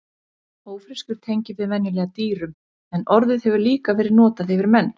Ófreskjur tengjum við venjulega dýrum en orðið hefur líka verið notað yfir menn.